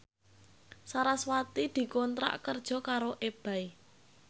sarasvati dikontrak kerja karo Ebay